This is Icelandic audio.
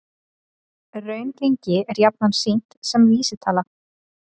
Raungengi er jafnan sýnt sem vísitala